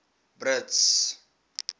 brits